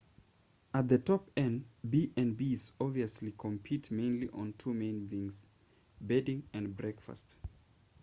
at the top end b&bs obviously compete mainly on two main things bedding and breakfast